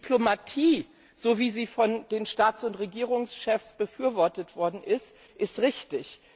Diplomatie, so wie sie von den Staats und Regierungschefs befürwortet worden ist, ist richtig.